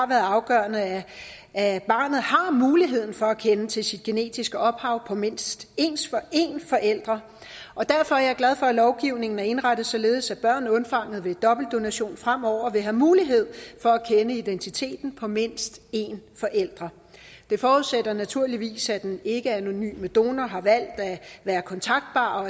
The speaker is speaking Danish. været afgørende at barnet har mulighed for at kende til sit genetiske ophav altså mindst en forælder og derfor er jeg glad for at lovgivningen er indrettet således at børn undfanget ved dobbeltdonation fremover vil have mulighed for at kende identiteten på mindst en forælder det forudsætter naturligvis at den ikkeanonyme donor har valgt at være kontaktbar